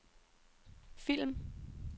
film